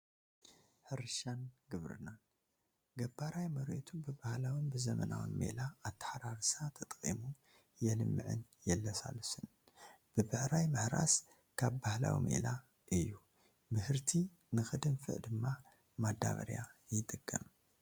ሕርሻን ግብርናን፡- ገባራይ መሬቱ ብባህላውን ብዘበናውን ሜላ ኣታሓራርሳ ተጠቒሙ የልምዕን የለሳልስን፡፡ ብብዕራይ ምሕራስ ካብ ባህላዊ ሜላ እዩ፡፡ ምህርቲ ንኽድንፈዓ ድማ ማዳበርያ ይጥቀም፡፡